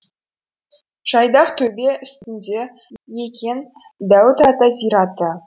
жайдақ төбе үстіңде екен дәуіт ата зираты